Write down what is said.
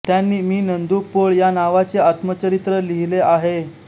त्यांनी मी नंदू पोळ या नावाचे आत्मचरित्र लिहिले आहे